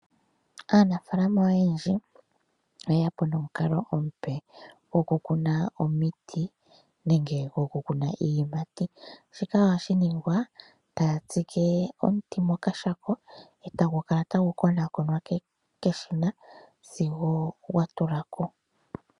Aanafaalama oyendji oye ya po nomukalo omupe gwokukuna omiti nenge gwokukuna iiyimati, shika oha shi ningwa taya tsike omuti mokashako e tagu kala tagu konakonwa keshina sigo gwatula ko.